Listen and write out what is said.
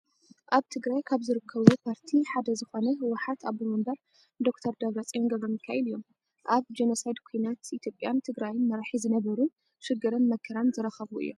ኣብ ትግራይ ካብ ዝርከቡ ፓርቲ ሓደ ዝኮነ ህወሓት ኣቦ ወንበር ዶ/ር ደብረፅዮን ገ/ሚካኤል እዮም። ኣብ ጆኖሳይድ ኩናት ኢትዮጵያን ትግራይን መራሒ ዝነበሩ ሽግርን መከራን ዝረከቡ እዮም።